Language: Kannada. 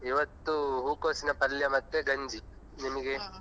ಇವತ್ತು ಹೂಕೋಸಿನ ಪಲ್ಯ ಮತ್ತು ಗಂಜಿ ನಿಮಿಗೆ.